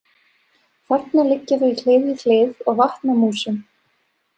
Þarna liggja þau hlið við hlið og vatna músum.